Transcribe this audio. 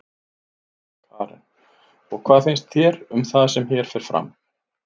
Karen: Og hvað finnst þér um það sem hér fer fram?